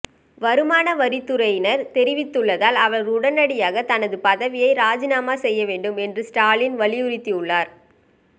வருமான வரித் துறையினர் தெரிவித்துள்ளதால் அவர் உடனடியாகத் தனது பதவியை ராஜினாமா செய்ய வேண்டும் என்று ஸ்டாலின் வலியுறுத்தியுள்ளார்